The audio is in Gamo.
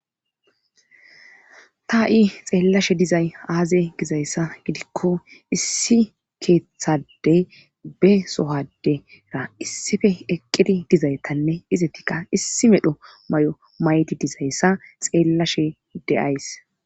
tah7i xeellashe dizay aaze gizayssa gidikko issi keeththadey be sohadera issife eqqidi dizaytanne izettikka issi medho may7o may7ti dizayssa xeellashe deays